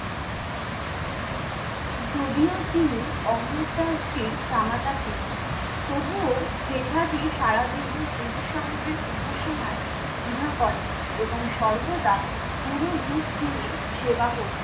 যদিও তিনি অমরদাসজীর জামাতা ছিলেন, তবুও জেঠা জী সারাদিন গুরু সাহেবের উপাসনায় দ্বিধা করেননি এবং সর্বদা গুরুর রূপ যিনি সেবা করতেন।